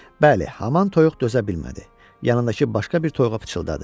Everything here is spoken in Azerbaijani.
Bəli, haman toyuq dözə bilmədi, yanındakı başqa bir toyuğa pıçıldadı.